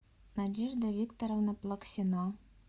надежда викторовна плаксина